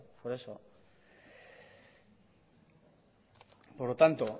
por eso por lo tanto